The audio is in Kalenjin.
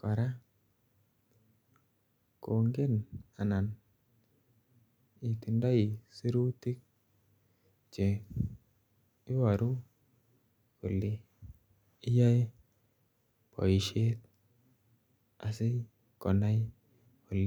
kora itindoi sirutiik che ibaruu kole iyae boisiet asikonai kole.